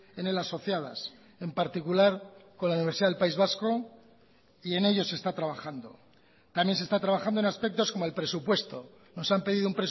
en él asociadas en particular con la universidad del país vasco y en ello se está trabajando también se está trabajando en aspectos como el presupuesto nos han pedido